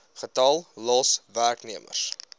getal los werknemers